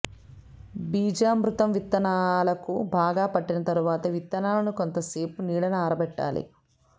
బీజామృతం విత్తనాలకు బాగా పట్టిన తరువాత విత్తనాలను కొంత సేపు నీడన ఆరబెట్టాలి